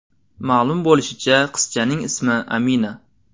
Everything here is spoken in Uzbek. Ma’lum bo‘lishicha, qizchaning ismi Amina.